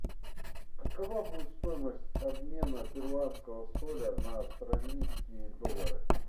какова будет стоимость обмена перуанского соля на австралийские доллары